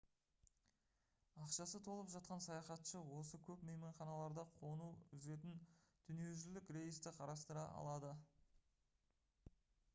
ақшасы толып жатқан саяхатшы осы көп мейманханаларда қону үзетін дүниежүзілік рейсті қарастыра алады